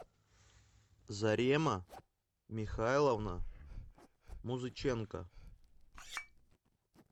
зарема михайловна музыченко